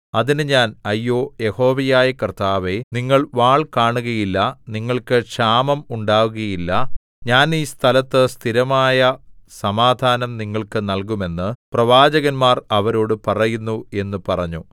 അതിന് ഞാൻ അയ്യോ യഹോവയായ കർത്താവേ നിങ്ങൾ വാൾ കാണുകയില്ല നിങ്ങൾക്ക് ക്ഷാമം ഉണ്ടാകുകയില്ല ഞാൻ ഈ സ്ഥലത്ത് സ്ഥിരമായ സമാധാനം നിങ്ങൾക്ക് നല്കും എന്നു പ്രവാചകന്മാർ അവരോടു പറയുന്നു എന്ന് പറഞ്ഞു